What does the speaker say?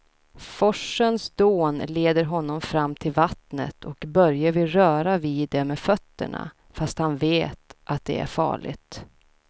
Forsens dån leder honom fram till vattnet och Börje vill röra vid det med fötterna, fast han vet att det är farligt.